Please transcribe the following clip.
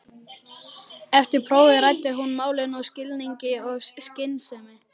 Eftir prófið ræddi hún málin af skilningi og skynsemi.